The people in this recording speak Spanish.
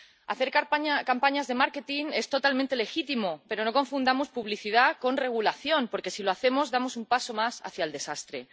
Hacer campañas de marketing es totalmente legítimo, pero no confundamos publicidad con regulación, porque si lo hacemos, damos un paso más hacia el desastre.